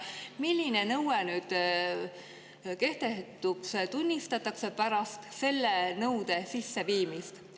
Milline nõue nüüd kehtetuks tunnistatakse pärast selle nõude sisseviimist?